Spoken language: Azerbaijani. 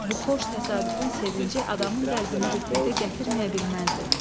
Bu xoş təsadüfün sevinci adamın qəlbini rəqqətə gətirməyə bilməzdi.